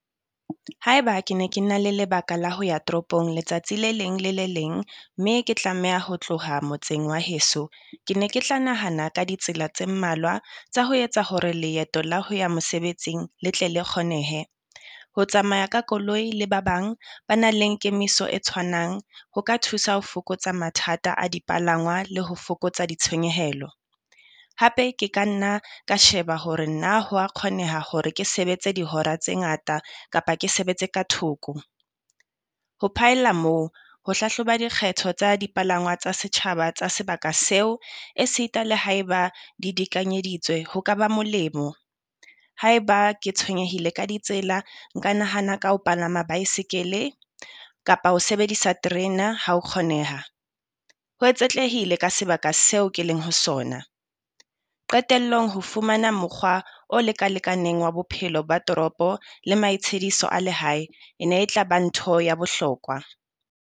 Haeba ke ne ke na le lebaka la ho ya toropong letsatsi le leng le le leng mme ke tlameha ho tloha motseng wa heso, ke ne ke tla nahana ka ditsela tse mmalwa tsa ho etsa hore leeto la ho ya mosebetsing le tle le kgonehe. Ho tsamaya ka koloi le ba bang ba na leng kemiso e tshwanang ho ka thusa ho fokotsa mathata a di palangwa le ho fokotsa ditshenyehelo. Hape Ke ka nna ka sheba hore na hwa kgoneha hore ke sebetse dihora tse ngata kapa ke sebetse ka thoko. Ho phaella moo ho hlahloba dikgetho tsa dipalangwa tsa setjhaba tsa sebaka seo e sita le haeba di dikanyeditswe ho ka ba molemo. Haeba ke tshwenyehile ka ditsela, nka nahana ka ho palama baesekele kapa ho sebedisa terena ha ho kgoneha, ho etsetlehile ka sebaka seo ke leng ho sona. Qetellong ho fumana mokgwa o leka lekaneng wa bophelo ba toropo le maitshidiso a lehae. E ne e tla ba ntho ya bohlokwa.